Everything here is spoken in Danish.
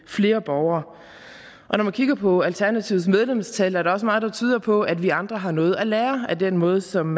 flere borgere og når man kigger på alternativets medlemstal er der også meget der tyder på at vi andre har noget at lære af den måde som